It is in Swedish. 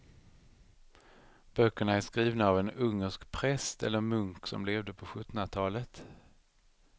Böckerna är skrivna av en ungersk präst eller munk som levde på sjuttonhundratalet.